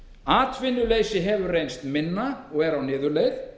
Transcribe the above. atvinnuleysi hefur reynst minna og er á niðurleið